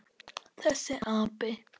Þessi api!